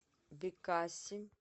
бекаси